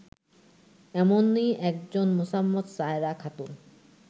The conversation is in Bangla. এমনই একজন মোসাম্মৎ সায়রা খাতুন